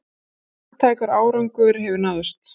Marktækur árangur hefur náðst